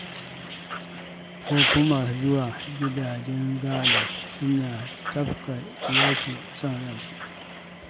Ko kuma masu zuwa gidajen gala, suna tafka tsiyarsu son ransu.